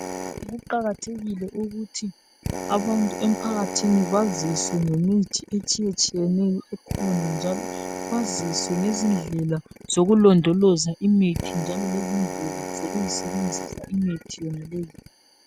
Kuqakathekile ukuthi abantu emphakathini baziswe ngemithi etshiyetshiyeneyo ekhona njalo baziswe ngezindlela zokulondoloza imithi njalo lezindlela zokuyisebenzisa imithi yonaleyi.